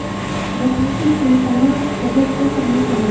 загрузи телеканал тв центр на тв